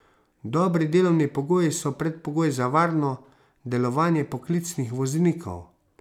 Dobri delovni pogoji so predpogoj za varno delovanje poklicnih voznikov.